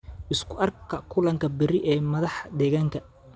Isku arka kulanka berri ee madaxa deegaanka